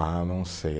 Ah, não sei.